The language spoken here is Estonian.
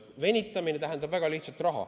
Venitamine tähendab väga lihtsat: raha.